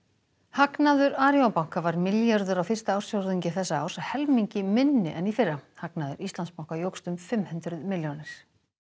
hagnaður Arion banka var milljarður á fyrsta ársfjórðungi þessa árs helmingi minni en í fyrra hagnaður Íslandsbanka jókst um fimm hundruð milljónir